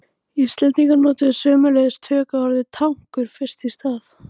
Íslendingar notuðu sömuleiðis tökuorðið tankur fyrst í stað.